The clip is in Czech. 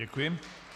Děkuji.